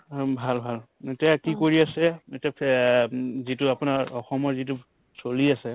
উম, ভাল ভাল এতিয়া কি কৰি আছে এতিয়া উম যিটো আপোনাৰ অসমৰ যিটো চলি আছে